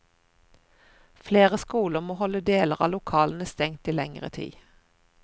Flere skoler må holde deler av lokalene stengt i lengre tid.